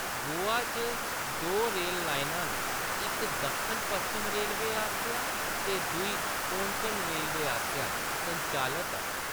गोवा च दो रेल लाइनां न, इक दक्खन पश्चिम रेलवे आस्सेआ ते दूई कोंकण रेलवे आस्सेआ संचालत ऐ।